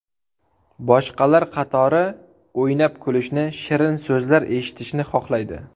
Boshqalar qatori o‘ynab kulishni, shirin so‘zlar eshitishni xohlaydi.